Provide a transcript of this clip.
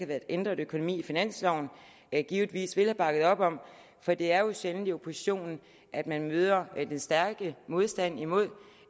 været ændret økonomi i finansloven givetvis ville have bakket op om for det er jo sjældent hos oppositionen at man møder den stærke modstand imod